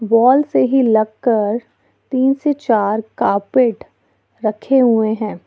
Wall से ही लग कर तीन से चार कार्पेट रखे हुए हैं।